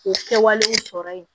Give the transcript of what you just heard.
K'o kɛwale in sɔrɔ yen